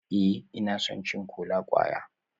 Ee, ina son cin kola-kwaya